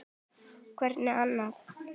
Hvern annan!